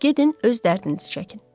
Gedin öz dərdinizi çəkin.